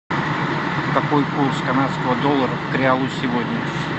какой курс канадского доллара к реалу сегодня